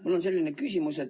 Mul on selline küsimus.